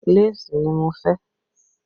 Léèsì ni mo fẹ́